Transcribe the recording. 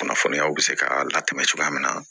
Kunnafoniyaw bɛ se ka latɛmɛ cogoya min na